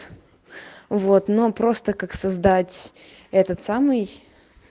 вот но просто как создать этот самый